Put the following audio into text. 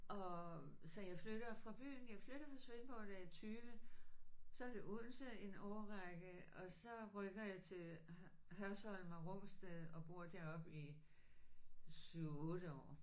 Og så jeg flytter fra byen jeg flytter fra Svendborg da jeg er 20. Så er det Odense en årrække og så rykker jeg til Hørsholm og Rungsted og bor deroppe i 7 8 år